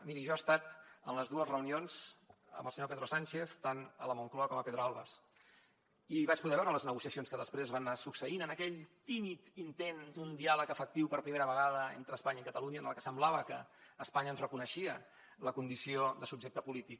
miri jo he estat en les dues reunions amb el senyor pedro sánchez tant a la moncloa com a pedralbes i vaig poder veure les negociacions que després es van anar succeint en aquell tímid intent d’un diàleg efectiu per primera vegada entre espanya i catalunya en què semblava que espanya ens reconeixia la condició de subjecte polític